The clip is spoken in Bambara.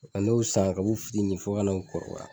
Ka n'o san kabin'u fitinin fo ka n'u kɔrɔbaya